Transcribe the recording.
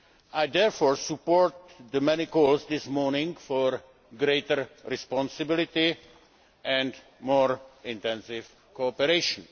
I therefore support the many calls this morning for greater responsibility and more intensive cooperation.